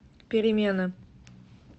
перемена